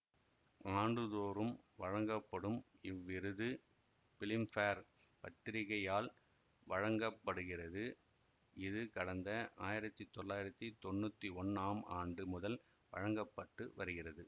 ஆண்டுதோறும் வழங்கப்படும் இவ்விருது பிலிம்பேர் பத்திரிக்கையால் வழங்க படுகிறது இது கடந்த ஆயிரத்தி தொள்ளாயிரத்தி தொன்னூத்தி ஒன்னாம் ஆண்டு முதல் வழங்க பட்டு வருகிறது